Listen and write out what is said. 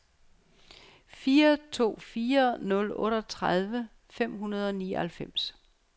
fire to fire nul otteogtredive fem hundrede og nioghalvfems